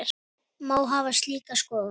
Má hafa slíka skoðun?